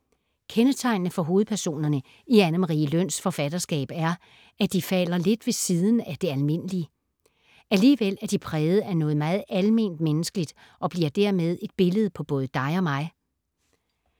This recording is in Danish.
Kendetegnende for hovedpersonerne i Anne Marie Løns forfatterskab er, at de falder lidt ved siden af det almindelige. Alligevel er de præget af noget meget alment menneskeligt og bliver dermed et billede på både dig og mig.